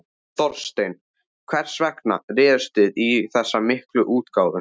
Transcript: Þorsteinn, hvers vegna réðust þið í þessa miklu útgáfu?